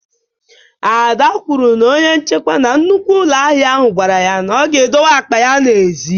Ada kwuru na onye nchekwa na nnukwu ụlọ ahịa ahụ gwara ya ka o dowe akpa ya n'èzí